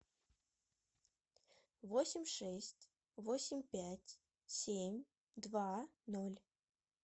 восемь шесть восемь пять семь два ноль